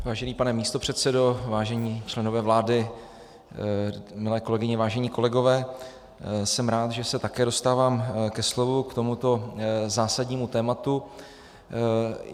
Vážený pane místopředsedo, vážení členové vlády, milé kolegyně, vážení kolegové, jsem rád, že se také dostávám ke slovu k tomuto zásadnímu tématu.